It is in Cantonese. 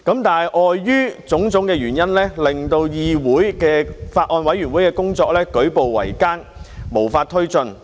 但是，礙於種種原因，令到議會內法案委員會的工作舉步維艱，無法推進。